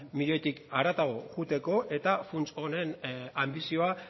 milioitik haratago joateko eta funts honen anbizioa